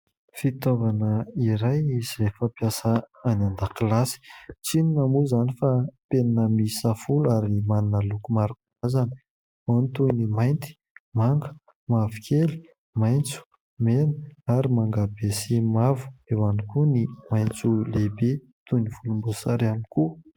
Fitaovana iray izay fampiasa any an-dakilasy tsy inona moa izany fa penina miisa folo ary manana loko maro karazana toy ny mainty, manga, mavokely, maitso, mena ary mangabe sy mavo eo ihany koa ny maitso lehibe toy ny volomboasary ihany koa.